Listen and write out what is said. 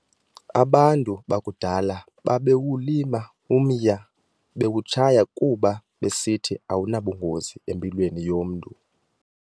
Abantu bakudala babewulima umya, bewutshaya kuba besithi awunabungozi empilweni yomntu.